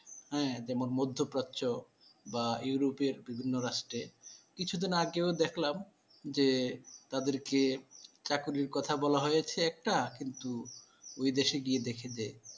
হ্যা যেমন মধ্যপ্রাচ্য বা europe বিভিন্ন রাষ্ট্রে কিছুদিন আগেও দেখলাম যে তাদেরকে চাকুরীর কথা বলা হয়েছে একটা কিন্তু ওই দেশে গিয়ে দেখে যে,